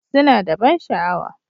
Suna da ban sha'awa.